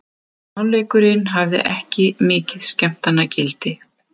Seinni hálfleikurinn hafði ekki mikið skemmtanagildi.